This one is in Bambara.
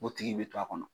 O tigi bi to a kɔnɔ